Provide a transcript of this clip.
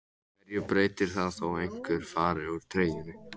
Hverju breytir það þó einhver fari úr treyjunni?